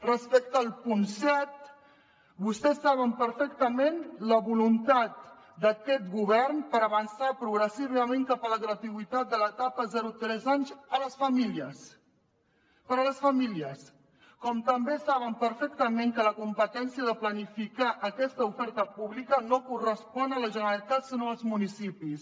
respecte al punt set vostès saben perfectament la voluntat d’aquest govern per avançar progressivament cap a la gratuïtat de l’etapa zero tres anys per a les famílies com també saben perfectament que la competència de planificar aquesta oferta pública no correspon a la generalitat sinó als municipis